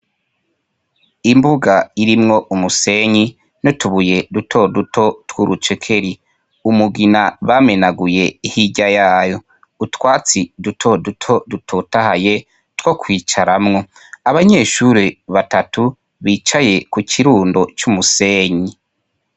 Imbuga irimwo umusenyi n’utubuye dutoduto tw’urucekeri , umugina bamenaguye hirya yayo, utwatsi dutoduto dutotahaye two kwicaramwo, abanyeshure batatu bicaye ku kirundo c’umusenyi.